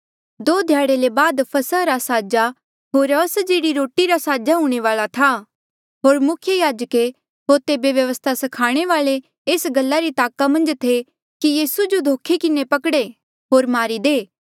दो ध्याड़े ले बाद फसह रा साजा होर अस्जेह्ड़ी रोटी रा साजा हूंणे वाल्आ था होर मुख्य याजके होर तेबे व्यवस्था स्खाणे वाल्ऐ एस गल्ला री ताका मन्झ थे कि यीसू जो धोखे किन्हें पकड़े होर मारी दे